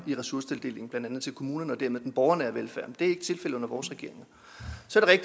i ressourcetildelingen blandt andet til kommunerne og dermed den borgernære velfærd det er ikke tilfældet under vores regeringer